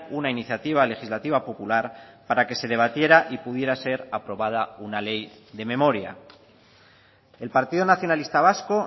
una iniciativa legislativa popular para que se debatiera y pudiera ser aprobada una ley de memoria el partido nacionalista vasco